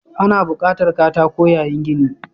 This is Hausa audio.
Ana buƙatar katako yayin gini.